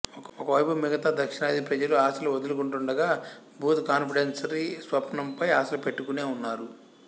ఒకవైపు మిగతా దక్షిణాది ప్రజలు ఆశలు వదులుకుంటూండగా బూత్ కాన్ఫెడరసీ స్వప్నంపై ఆశలుపెట్టుకునే ఉన్నారు